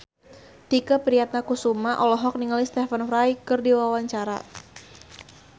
Tike Priatnakusuma olohok ningali Stephen Fry keur diwawancara